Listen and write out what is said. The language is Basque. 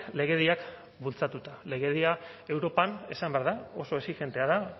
legediak bultzatuta legedia europan esan behar da oso exijentea da